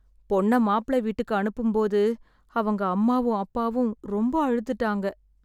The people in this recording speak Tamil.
பொண்ண மாப்ள வீட்டுக்கு அனுப்பும் போது, அவங்க அம்மாவும் அப்பாவும் ரொம்ப அழுதுட்டாங்க.